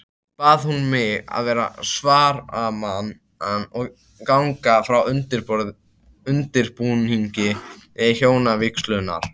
Bað hún mig vera svaramann og ganga frá undirbúningi hjónavígslunnar.